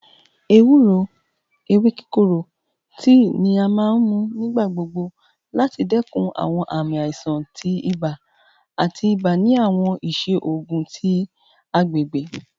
Ewuro (ewe kikoro) tii ni a maa n mu nigbagbogbo lati dinku awọn aami aisan ti iba ati iba ni awọn iṣe oogun ti agbegbe